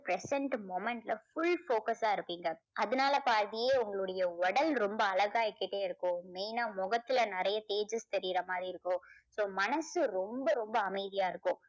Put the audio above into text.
present moment ல full focus ஆ இருக்கீங்க. அதனால பாதியே உங்களுடைய உடல் ரொம்ப அழகாகிக்கிட்டே இருக்கும். main ஆ முகத்துல நிறைய தேஜஸ் தெரியுற மாதிரி இருக்கும். so மனசு ரொம்ப ரொம்ப அமைதியா இருக்கும்.